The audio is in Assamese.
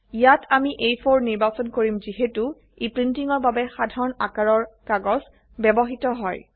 ইয়াত আমি আ4 নিৰ্বাচন কৰিম যিহেতো ই প্ৰীন্টীঙৰ বাবে সাধাৰণ আকাৰৰ কাগজ ব্যবহৃত হয়